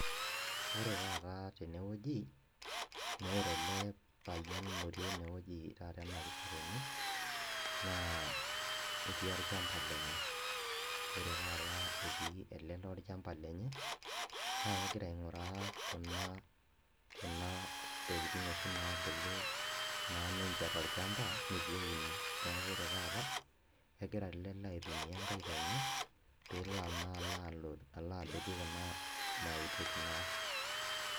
Ore taata tenewueji, nore ele payian lotii enewueji taata ena pisha tene naa etii orchamba lenye ore taata etii ele lee orchamba lenye naa kegira aing'uraa kuna kuna tokiting' oshi naabulu naa ninche torchamba nitu euni neku ore taata kegira ele lee aitumia inkaik enye peelo naa alo alo adotu kuna mautik naa.